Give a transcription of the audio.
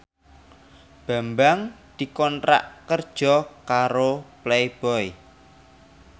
Bambang dikontrak kerja karo Playboy